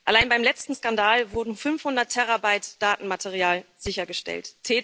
Allein beim letzten Skandal wurden 500 Terabyte Datenmaterial sichergestellt.